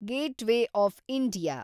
gateway of India